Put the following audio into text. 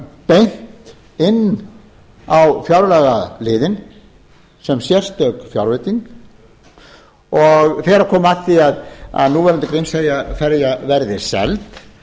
beint inn á fjárlagaliðinn sem sérstök fjárveiting og þegar komi að því að núverandi grímseyjarferja verði seld